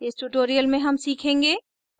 इस tutorial में हम सीखेंगे